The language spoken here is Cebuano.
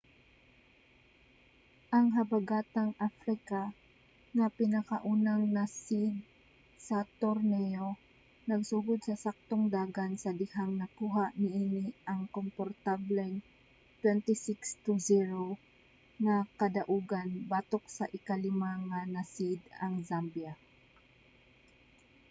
ang habagatang africa nga pinakaunang na-seed sa torneyo nagsugod sa saktong dagan sa dihang nakuha niini ang komportableng 26 - 00 nga kadaugan batok sa ika-5 nga na-seed ang zambia